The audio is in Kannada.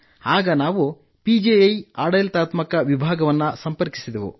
ಆಗ ನಾವು ಪಿಜಿಐ ಆಡಳಿತಾತ್ಮಕ ವಿಭಾಗವನ್ನು ಸಂಪರ್ಕಿಸಿದೆವು